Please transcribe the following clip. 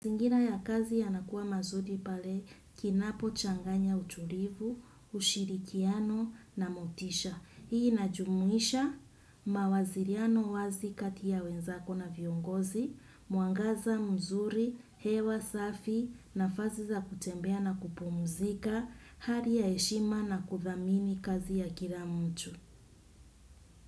Zingira ya kazi ya nakuwa mazuri pale kinapo changanya uturivu, ushirikiano na motisha. Hii inajumuisha mawaziriano wazi kati ya wenzako na viongozi, mwangaza, mzuri, hewa, safi na fasi za kutembea na kupumzika, hali ya heshima na kuthamini kazi ya kilamtu.